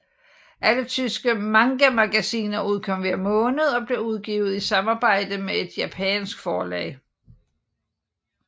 Alle tyske mangamagasiner udkom hver måned og blev udgivet i samarbejde med et japansk forlag